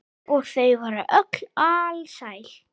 Og þau voru öll alsæl.